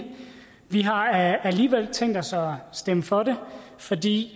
vi har alligevel tænkt os at stemme for det fordi